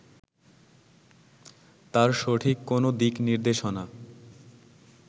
তার সঠিক কোনো দিক নির্দেশনা